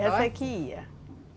que ia?